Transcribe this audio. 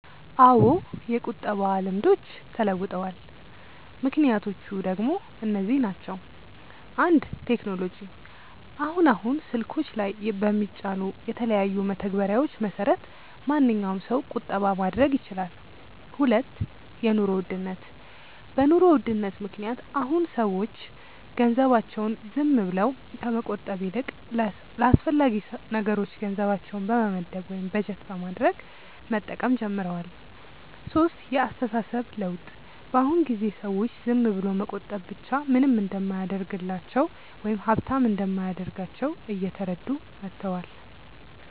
አዎ የቁጠባ ልምዶች ተለውጠዋል። ምክንያቶቹ ደሞ እነዚህ ናቸው፦ 1. ቴክኖሎጂ፦ አሁን አሁን ስልኮች ላይ በሚጫኑ የተለያዩ መተግበሪያዎች መሰረት ማንኛዉም ሰው ቁጠባ ማድረግ ይችላል 2. የኑሮ ውድነት፦ በ ኑሮ ውድነት ምክንያት አሁን አሁን ሰዎች ገንዘባቸውን ዝም ብለው ከመቆጠብ ይልቅ ለአስፈላጊ ነገሮች ገንዘባቸውን በመመደብ ወይም በጀት በማድረግ መጠቀም ጀምረዋል 3. የ አስተሳሰብ ለውጥ፦ በ አሁን ጊዜ ሰዎች ዝም ብሎ መቆጠብ ብቻ ምንም እንደማያደርግላቸው ወይም ሃብታም እንደማያደርጋቸው እየተረዱ መተዋል